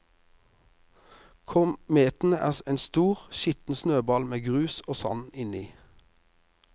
Kometen er som en stor, skitten snøball med grus og sand inni.